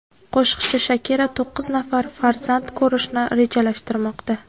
Qo‘shiqchi Shakira to‘qqiz nafar farzand ko‘rishni rejalashtirmoqda.